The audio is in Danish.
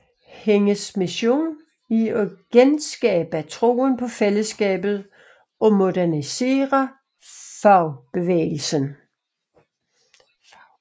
Hendes mission er at genskabe troen på fællesskabet og modernisere fagbevægelsen